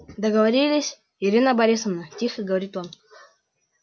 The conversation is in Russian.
договорились ирина борисовна тихо говорит он